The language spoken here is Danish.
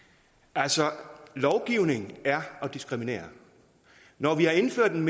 altså lovgivning er at diskriminere når vi har indført en